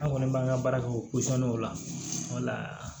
An kɔni b'an ka baara kɛ o la